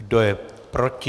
Kdo je proti?